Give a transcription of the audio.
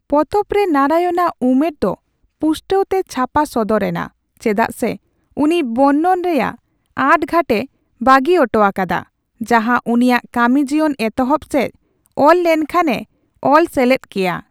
ᱯᱚᱛᱚᱵ ᱨᱮ ᱱᱟᱨᱟᱭᱚᱱᱟᱜ ᱩᱢᱟᱹᱨ ᱫᱚ ᱯᱩᱥᱴᱟᱹᱣ ᱛᱮ ᱪᱷᱟᱯᱟ ᱥᱚᱫᱚᱨᱮᱱᱟ ᱪᱮᱫᱟᱜ ᱥᱮ ᱩᱱᱤ ᱵᱚᱨᱱᱚᱱ ᱨᱮᱭᱟᱜ ᱟᱸᱴᱼᱜᱷᱟᱴᱼᱮ ᱵᱟᱹᱜᱤ ᱩᱴᱩᱣᱟᱠᱟᱫᱟ, ᱡᱟᱸᱦᱟ ᱩᱱᱤᱭᱟᱜ ᱠᱟᱹᱢᱤ ᱡᱤᱭᱚᱱ ᱮᱛᱚᱦᱚᱯ ᱥᱮᱪ ᱚᱞ ᱞᱮᱱᱠᱷᱟᱱᱼᱮ ᱚᱞ ᱥᱮᱞᱮᱛ ᱠᱮᱭᱟ ᱾